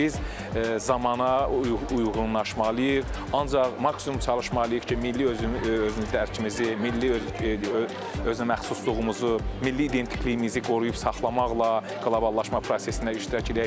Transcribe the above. Biz zamana uyğunlaşmalıyıq, ancaq maksimum çalışmalıyıq ki, milli özünü dərkimizi, milli özünəməxsusluğumuzu, milli identikliyimizi qoruyub saxlamaqla qloballaşma prosesində iştirak edək.